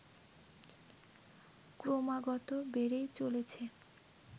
ক্রমাগত বেড়েই চলেছে